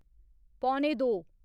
पौने दो